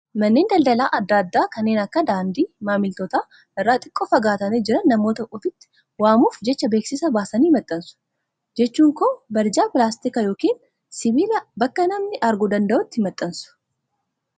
Manneen daldalaa adda addaa kanneen bakka daandii maamiltootaa irraa xiqqoo faagatanii jiran namoota ofitti waamuuf jecha beeksisa baasanii maxxansu. Jechuun koo barjaa pilaastikaa yookiin sibiilaa bakka namni arguu danda'utti maxxansu